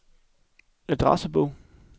adressebog